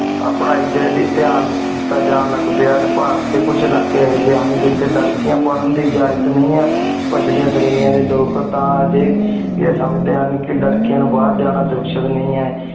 ਆਯ ਪਰਾਈ ਡੀ ਤੀਆਂ ਦੇਤਾ ਜਾਨ ਲਗ ਪੇ ਭਾਰਤ ਡੀ ਕੁਛ ਅਲਾਕ੍ਯ ਏਹੀ ਜੀ ਹਨ ਜੇਠੀ ਲਾਰ੍ਕੇਆਂ ਪਰਨ ਦੀ ਅਜਾਜ੍ਤ ਨੀ ਹਨ ਪਿਚ੍ਲੇਯਾਂ ਡੀ ਲੋਗ ਤਾਂ ਹਾਜੀ ਆਯ ਸੰਜ੍ਡੀ ਹੁਣ ਕੀ ਲਾਰ ਕੇਯਾਂ ਨੂ ਬਹੇਰ ਜਾਣਾ ਨਹੀ